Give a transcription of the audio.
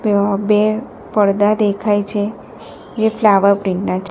બે પરદા દેખાય છે જે ફ્લાવર પ્રિન્ટ ના --